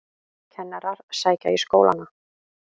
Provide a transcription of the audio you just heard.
Kennarar sækja í skólana